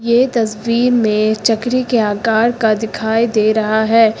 ये तस्वीर में चकरी के आकार का दिखाई दे रहा है।